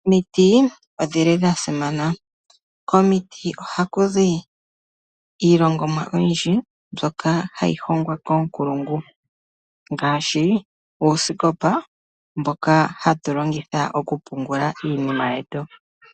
Omiti odha simana. Komiti ohaku zi iilongomwa oyindji mbyoka hayi hongwa koonkulungu ngaashi uusikopa mboka hatu longitha okupungula iinima yetu.